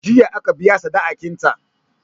Jiya aka biya sadikinta.